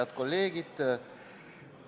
Head kolleegid!